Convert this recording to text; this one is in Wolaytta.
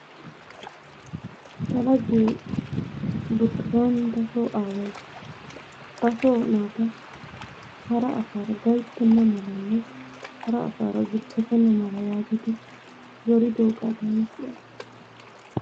Ta laggee Burtukaninttasoo aaway ba soo naata hara asaara gayttena malanne hara asaara zuppetenna mala yaagidi zoridiooga taani siyaas.